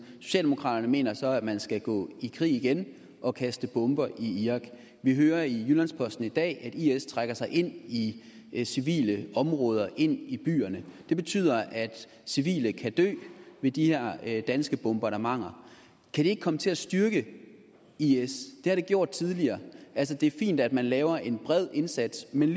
socialdemokraterne mener så at man skal gå i krig igen og kaste bomber i irak vi hører i jyllands posten i dag at is trækker sig ind i i civile områder ind i byerne det betyder at civile kan dø ved de her danske bombardementer kan det ikke komme til at styrke is det har det gjort tidligere altså det er fint at man laver en bred indsats men